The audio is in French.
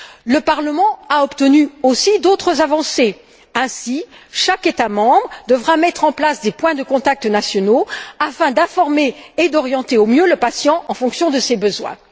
Le Parlement a obtenu aussi d'autres avancées ainsi chaque État membre devra mettre en place des points de contact nationaux afin d'informer et d'orienter au mieux le patient en fonction de ses besoins.